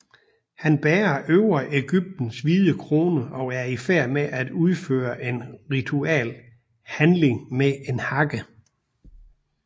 Han bærer Øvre Egyptens hvide krone og er i færd med at udføre en ritual handling med en hakke